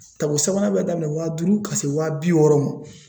tako sabanan bɛ daminɛ wa duuru ka se wa bi wɔɔrɔ ma